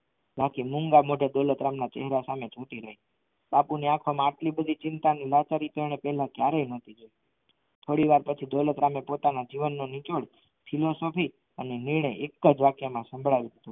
બાકી મૂંગા મોઢે દોલતરામ ના ચહેરા સામે બાપુ ની આંખો મા આટલી બધી ચિંતા ની લાસારી તેણે પહેલા ક્યારેય નથી જોઈ થોડીવાર પછી દોલતરામ એ જીવનનું નિચોડયુ ફિલોસોફી અને નિર્ણય એક જ વાક્યમાં સંભળાવી દીધું